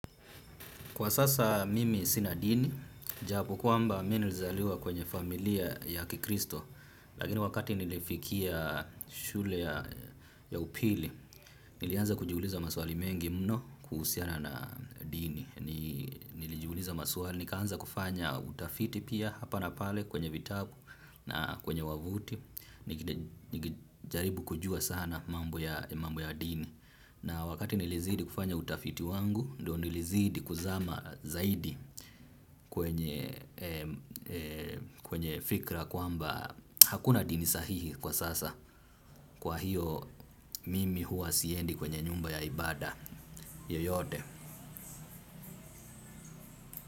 Kwa sasa mimi sinadini, japo kwamba mimi nilizaliwa kwenye familia ya kikristo, lakini wakati nilifikia shule ya upili, nilianza kujiuliza maswali mengi mno kuhusiana na dini. Nilijiuliza maswali, nikaanza kufanya utafiti pia hapa na pale kwenye vitabu na kwenye wavuti, nikijaribu kujua sana mambo ya dini. Na wakati nilizidi kufanya utafiti wangu, ndio nilizidi kuzama zaidi. Kwenye fikra kwamba hakuna dini sahihi kwa sasa, kwa hiyo kwenye fikra kwamba hakuna dini sahihi kwa sasa kwa hiyo.